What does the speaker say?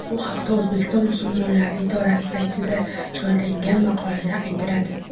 Bu haqda O‘zbekiston musulmonlari idorasi saytiga joylangan maqolada aytiladi .